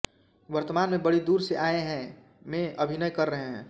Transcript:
वर्तमान में बड़ी दूर से आये हैं में अभिनय कर रहे है